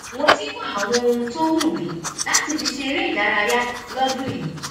mo ti ń wá àwọn ohun tó wù mí láti fi ṣe eré ìdárayá lọ́dún yìí